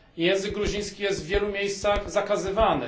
Język gruziński jest w wielu miejscach zakazywany.